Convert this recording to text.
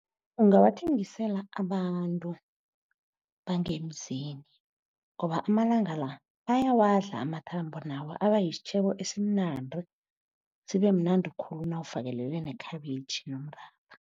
Ungawathengisela abantu bangemzini ngoba amalanga la bayawadla amathambo. Nawo abasitjhebo esimnandi sibe mnandi khulu nawufakelele nekhabitjhi nomratha.